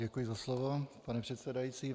Děkuji za slovo, pane předsedající.